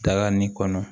Daga nin kɔnɔ